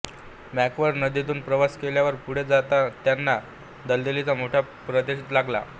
Macquarie नदीतून प्रवास केल्यावर पुढे त्यांना दलदलीचा मोठा प्रदेश लागला